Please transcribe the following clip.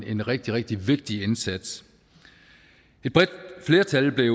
en rigtig rigtig vigtig indsats et bredt flertal blev